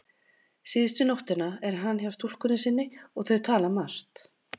Síðustu nóttina er hann hjá stúlkunni sinni og þau tala margt.